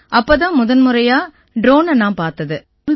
அப்பத் தான் முத முறையா ட்ரோனை நான் பார்த்தது